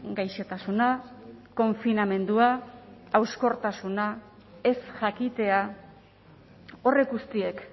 gaixotasuna konfinamendua hauskortasuna ez jakitea horrek guztiek